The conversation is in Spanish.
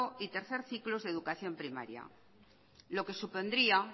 y tercer ciclo de educación primaria lo que supondría